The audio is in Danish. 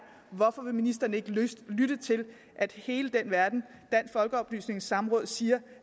hvorfor ministeren ikke vil lytte til at hele den verden dansk folkeoplysnings samråd siger